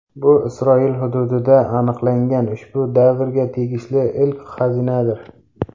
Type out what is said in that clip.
Bu Isroil hududida aniqlangan ushbu davrga tegishli ilk xazinadir.